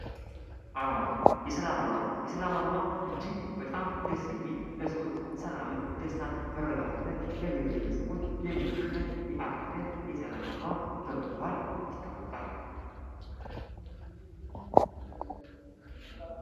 አርማ የሰላም አርማ፡- የሰላም አርማ እጅግ በጣም ደስ የሚልና ለሰዎች ሰላምን፥ ደስታን፥ መረጋጋትን ለብሔር ብሔረሰቦች የሚያሰፍን የዓርማ አይነት የሰላም አርማ በመባል ይታወቃል።